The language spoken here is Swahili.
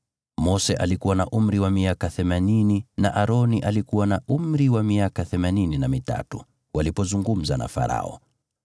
Mose alikuwa na umri wa miaka themanini na Aroni alikuwa na umri wa miaka themanini na mitatu walipozungumza na Farao.